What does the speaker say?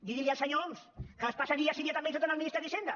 digui ho al senyor homs que es passa dia sí dia també insultant el ministre d’hisenda